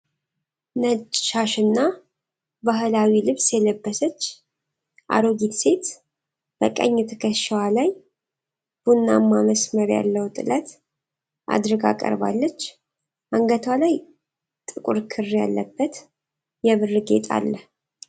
ነጭ ሻሽና ባህላዊ ልብስ የለበሰች አሮጊት ሴት በቀኝ ትከሻዋ ላይ ቡናማ መስመር ያለው ጥለት አድርጋ ቀርባለች። አንገቷ ላይ ጥቁር ክር ያለበት የብር ጌጥ አለ።